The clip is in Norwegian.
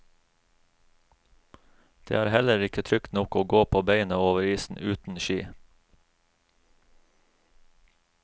Det er heller ikke trygt nok å gå på beina over isen, uten ski.